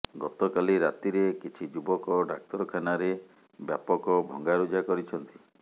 ଗତକାଲି ରାତିରେ କିଛି ଯୁବକ ଡାକ୍ତରଖାନାରେ ବ୍ୟାପକ ଭଙ୍ଗାରୁଜା କରିଛନ୍ତି